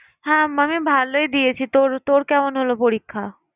হ্যাঁ মানে ভালোই দিয়েছি তোর তোর কেমন হলো পরীক্ষা?